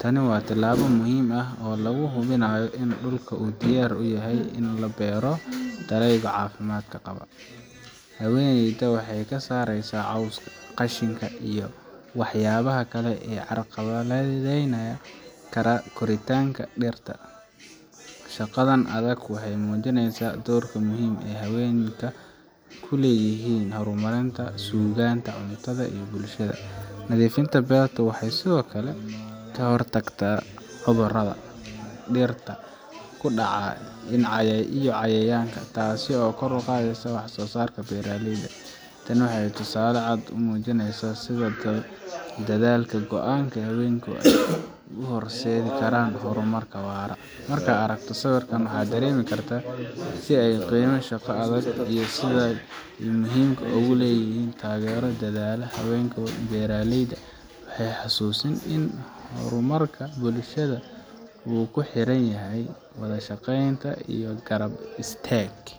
Tani waa tallaabo muhiim ah oo lagu hubinayo in dhulka uu diyaar u yahay in lagu beero dalagyo caafimaad qaba. Haweeneyda waxay ka saareysaa cawska, qashinka, iyo waxyaabaha kale ee carqaladeyn kara koritaanka dhirta. Shaqadan adag waxay muujineysaa doorka muhiimka ah ee haweenka ku leeyihiin horumarinta iyo sugnaanta cuntada ee bulshada. Nadiifinta beerta waxay sidoo kale ka hortagtaa cudurrada dhirta ku dhaca iyo cayayaanka, taasoo kor u qaadaysa wax soosaarka beeraleyda. Tani waa tusaale cad oo muujinaya sida dadaalka iyo go'aanka haweenka ay u horseedi karaan horumar waara. Markaad aragto sawirkan, waxaad dareemi kartaa qiimaha shaqada adag iyo sida ay muhiimka u tahay in la taageero dadaallada haweenka beeraleyda ah. Waaxay xusuusin in horumarka bulshada uu ku xiran yahay wada shaqeyn iyo garab istaag.